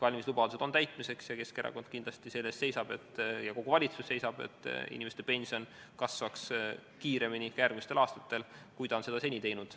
Valimislubadused on täitmiseks ning Keskerakond ja kogu valitsus seisavad selle eest, et pension kasvaks järgmistel aastatel kiiremini, kui ta on seda seni teinud.